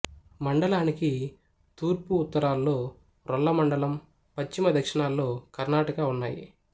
మండలానికి తూర్పు ఉత్తరాల్లో రొల్ల మండలం పశ్చిమ దక్షిణాల్లో కర్ణాటక ఉన్నాయి